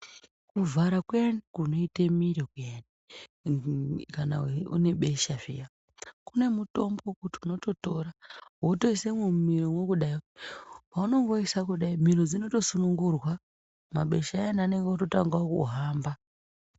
Kuvhara kuyani kunoita miro kuyani munhu kana une besha zviya kune mutombo wekuti unototora wotoisemwo mumiromwo kudai . Paunongoisa kudai miro dzotosunungurwa mabesha ayana anenge ototangawo kuhamba.